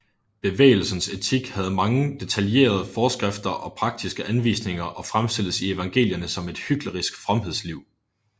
Bevægelsens etik havde mange detaljerede forskrifter og praktiske anvisninger og fremstilles i evangelierne som et hyklerisk fromhedsliv